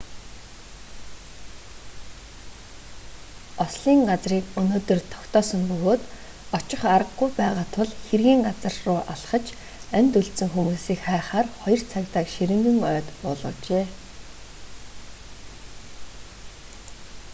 ослын газрыг өнөөдөр тогтоосон бөгөөд очих аргагүй байгаа тул хэргийн газар руу алхаж амьд үлдсэн хүмүүсийг хайхаар хоёр цагдааг ширэнгэн ойд буулгажээ